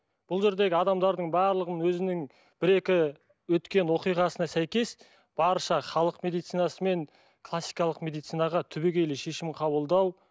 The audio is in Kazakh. бұл жердегі адамдардың барлығын өзінің бір екі өткен оқиғасына сәйкес барша халық медицинасы мен классикалық медицинаға түбегейлі шешім қабылдау